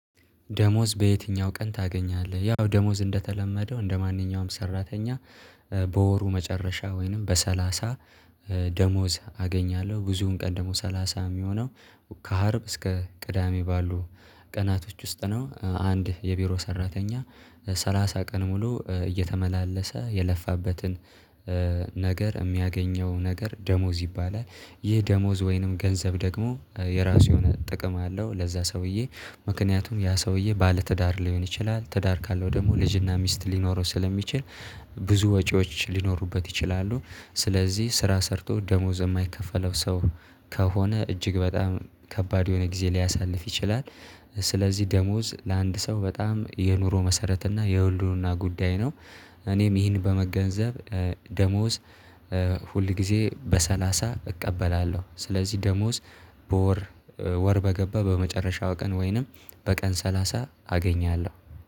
ደሞዝ በየትኛው ቀን ታገኛለህ? ያው ደሞዝ እንደተለመደው እንደማንኛውም ሰራተኛ በወሩ መጨረሻ ወይንም በሰላሳ ደሞዝ አገኛለሁ ብዙውን ቀን ደግሞ ሰላሳ የሚሆነው ከሀርብ እስከ ቅዳሜ ባሉ ቀናቶች ውስጥ ነው። አንድ የቢሮ ሰራተኛ ሰላሳ ቀን ሙሉ እየተመላለሰ የለፋበትን ነገር የሚያገኘው ነገር ደሞዝ ይባላል፤። ይህ ደሞዝ ወይንም ገንዘብ ደግሞ የራሱ የሆነ ጥቅም አለው፤። ለዛ ሰውዬ ምክንያቱም ያ ሰውዬ ባለትዳር ሊሆን ይችላል፤ ትዳር ካለው ደግሞ ልጅና ሚስት ሊኖረው ስለሚችል ብዙ ወጪዎች ሊኖሩበት ይችላሉ፤። ስለዚህ ስራ ሰርቶ ደሞዝ የማይከፈለው ሰው ከሆነ እጅግ በጣም ከባድ የሆነ ጊዜ ሊያሳልፍ ይችላል፤። ስለዚህ ደሞዝ ለአንድ ሰው በጣም የኑሮ መሰረት እና የህልውና ጉዳይ ነው። እኔም ይህን በመገንዘብ ደሞዝ ሁል ጊዜ በሰላሳ እቀበላለሁ፤። ስለዚህ ደሞዝ በወር ወር በገባ በመጨረሻው ቀን ወይንም በቀን ሰላሳ አገኛለሁ፤